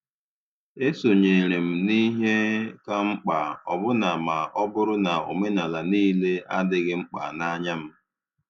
E sonyeere m n' ihe kà mkpa, ọbụna ma ọ bụrụ na omenala niile adịghị mkpa n’anya m.